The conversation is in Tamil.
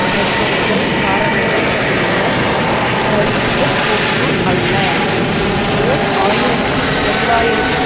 பிரச்சினைகள் காரணமே ஒழிய கருத்தியல் போக்கு அல்ல ஓர் ஆயிரத்தி தொள்ளாயிரத்தி